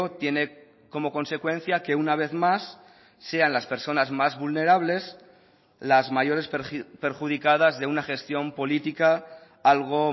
tiene como consecuencia que una vez más sean las personas más vulnerables las mayores perjudicadas de una gestión política algo